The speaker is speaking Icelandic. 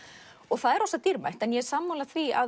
það er dýrmætt ég er sammála því að